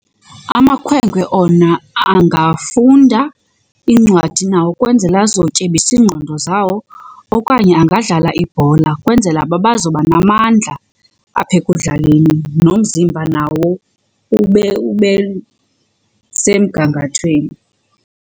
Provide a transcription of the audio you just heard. Amakhwenkwe ona angafunda iincwadi nawo ukwenzela azotyebisa iingqondo zawo okanye angadlala ibhola kwenzela uba bazoba namandla apha ekudlaleni nomzimba nawo ube ube semgangathweni.